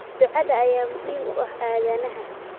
Ducada ayaa muhiim u ah aadanaha